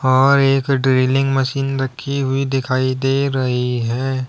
और एक drilling machine रखी हुई दिखाई दे रही है।